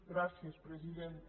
gràcies presidenta